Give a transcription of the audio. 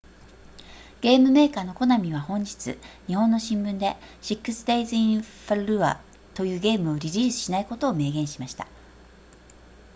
ゲームメーカーのコナミは本日日本の新聞で six days in fallujah というゲームをリリースしないことを明言しました